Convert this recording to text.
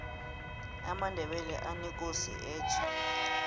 amandebele anekosi etja